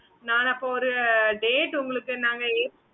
okay mam